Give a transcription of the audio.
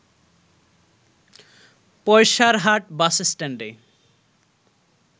Paisarhat bus স্ট্যান্ডে